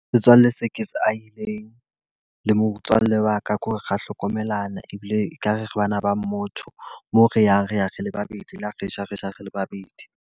Setswalle se ke se ahileng, le motswallle wa ka. Ko re ra hlokomelana ebile e ka re re bana ba motho. Moo re yang re ya re le babedi, le ho re ja re ja re le babedi.